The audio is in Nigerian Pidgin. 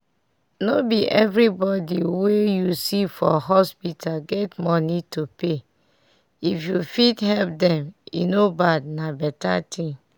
no be everybody we you see for hospital get money to pay if you fit help dem e no bad na better thing.